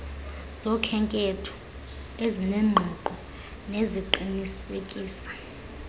zokhenketho ezinengqiqo neziqinisekisa